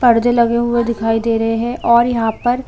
परदे लगे हुए दिखाई दे रहे और यहाँ पर--